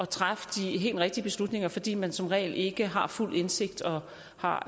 træffe de helt rigtige beslutninger fordi man som regel ikke har fuld indsigt og har